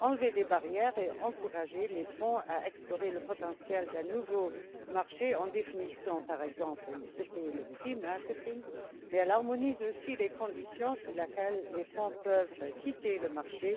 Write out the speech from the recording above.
enlever des barrières et encourager les fonds à explorer le potentiel d'un nouveau marché, en définissant par exemple ce qu'est le prix marketing. Elle harmonise aussi les conditions selon lesquelles les fonds peuvent quitter le marché